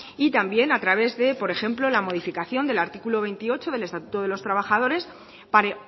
y también a través de por ejemplo la modificación del artículo veintiocho del estatuto de los trabajadores para